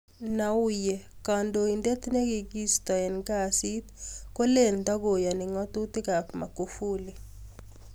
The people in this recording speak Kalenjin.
Nnauye: Kandoindet ne kiki isto ing kazi kolen takoiyani ngatutik ap Magufuli.